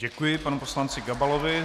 Děkuji panu poslanci Gabalovi.